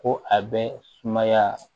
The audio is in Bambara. Ko a bɛ sumaya